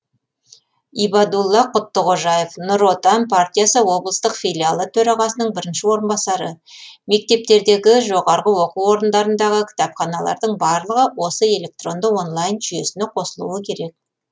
ибадулла құттықожаев нұр отан партиясы облыстық филиалы төрағасының бірінші орынбасары мектептердегі жоғарғы оқу орындарындағы кітапханалардың барлығы осы электронды онлайн жүйесіне қосылуы керек